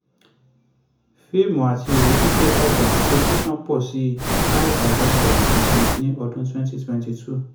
fíìmù àti ìwé títẹ̀ dàgbà tẹlifíṣọ̀n pọ̀ sí five point thirty seven percent ní ọdún twenty twenty two.